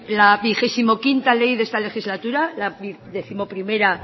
la vigesimoquinta la décimoprimera